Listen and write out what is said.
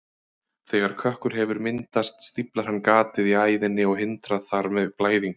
Þegar kökkur hefur myndast stíflar hann gatið í æðinni og hindrar þar með blæðingu.